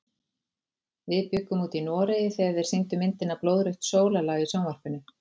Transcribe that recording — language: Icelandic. Við bjuggum úti í Noregi þegar þeir sýndu myndina Blóðrautt sólarlag í sjónvarpinu.